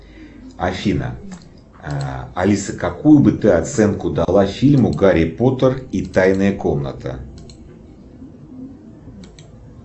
афина алиса какую бы ты оценку дала фильму гарри поттер и тайная комната